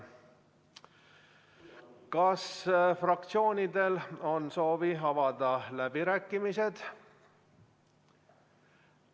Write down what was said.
Kas fraktsioonidel on soovi avada läbirääkimised?